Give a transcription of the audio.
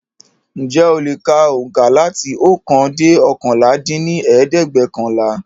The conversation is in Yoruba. Ǹjẹ̀ o le ka oùnkà láti ókan dẹ́ oókànlá dín ní ẹ̀ẹ́dẹ́gbẹ́ọ̀kànlá?